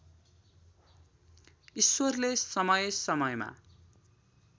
ईश्वरले समय समयमा